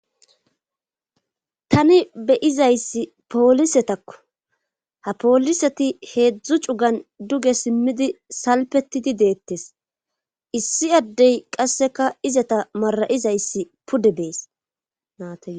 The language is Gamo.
tani beyizayssi poolisetakko ha pooliseti heedzdzu cugan duge simmidi salpetidi deettes issi addey qasseka izata mara7izayssi pude beesnate